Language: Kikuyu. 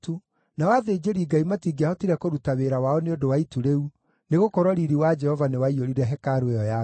nao athĩnjĩri-Ngai matingĩahotire kũruta wĩra wao nĩ ũndũ wa itu rĩu, nĩgũkorwo riiri wa Jehova nĩwaiyũrire hekarũ ĩyo ya Ngai.